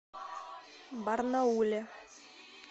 барнауле